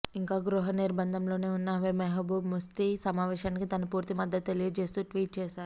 ఇంకా గృహ నిర్బంధంలోనే ఉన్న మెహబూబ్ ముఫ్తి సమావేశానికి తన పూర్తి మద్దతు తెలియజేస్తూ ట్వీట్ చేశారు